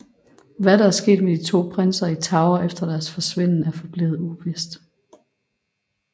Hvad der er sket med de to prinser i Tower efter deres forsvinden er forblevet uvist